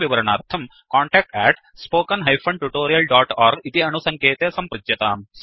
अधिकविवरणार्थम् contact spoken tutorialorg इति अणुसङ्केते सम्पृच्यताम्